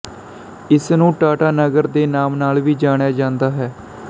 ਇਸਨੂੰ ਟਾਟਾਨਗਰ ਦੇ ਨਾਮ ਨਾਲ ਵੀ ਜਾਣਿਆ ਜਾਂਦਾ ਹੈ